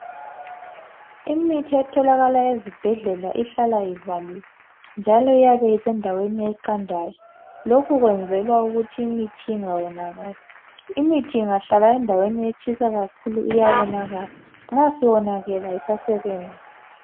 Imithi etholakala ezibhedlela ihlala ivaliwe, njalo iyabe isendaweni eqandayo. Lokhu kuyenzelwa ukuthi imithi ingawonakali. Imithi ingahlala endaweni etshisa kakhulu iyawonakala, nxa isiwonakele kayisasebenzi.